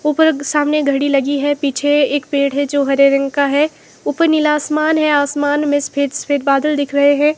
ऊपर के सामने घड़ी लगी है पीछे एक पेड़ है जो हरे रंग का है ऊपर नीला आसमान है आसमान में सफेद सफेद बदल दिख रहे हैं।